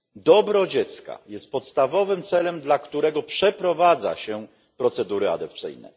Dobro dziecka jest podstawowym celem, dla którego przeprowadza się procedury adopcyjne.